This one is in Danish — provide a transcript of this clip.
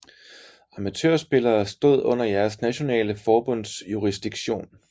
Amatørspillere stod under deres nationale forbunds jurisdiktion